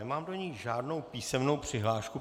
Nemám do ní žádnou písemnou přihlášku.